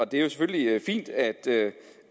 det er jo selvfølgelig fint at